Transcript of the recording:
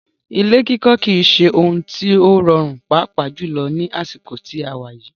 Ilé kikọ́ kìí ṣe òhún tí o rọrùn pàápà jùlọ ní àsìkò tí a wà yìí.